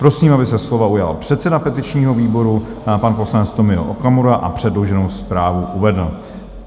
Prosím, aby se slova ujal předseda petičního výboru, pan poslanec Tomio Okamura, a předloženou zprávu uvedl.